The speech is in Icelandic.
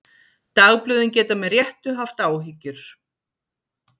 Dagblöðin geta með réttu haft áhyggjur.